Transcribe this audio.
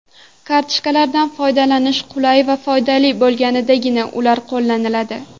Kartochkalardan foydalanish qulay va foydali bo‘lgandagina, ular qo‘llaniladi.